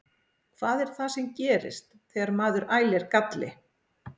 Hvað er það sem gerist þegar maður ælir galli?